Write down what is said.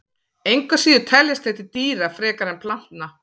Engu að síður teljast þeir til dýra frekar en plantna.